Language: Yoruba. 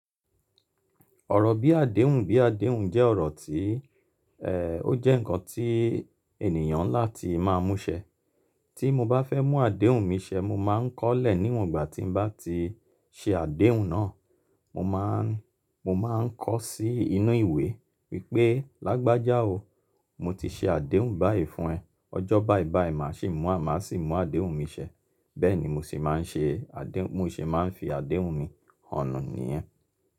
Ọ̀rọ̀ bí àdéhùn bí àdéhùn jẹ́ ọ̀rọ̀ tí, ẹ́, ó jẹ́ ǹkan tí ènìyàn ńlá ti máa mú ṣẹ. Tí mo bá fẹ́ mú àdéhùn mi ṣẹ, mo máa ń kọ́lẹ̀ níwọ̀n ìgbà tí mo bá ti ṣe àdéhùn náà. Mo máa ń, mo máa ń kọ sí inú ìwé wípé "Lágbájá o, mo ti ṣe àdéhùn báyìí fún ẹ, ọjọ́ báyìí báyìí màá ṣe mú àmá sì mú àdéhùn mi ṣẹ." Bẹ́ẹ̀ ni mo sì máa ń ṣe àdé-- mo sì máa ń fi àdéhùn mi hàn níyẹn.